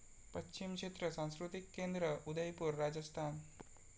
पश्चिम क्षेत्र सांस्कृतिक केंद्र, उदयपूर, राजस्थान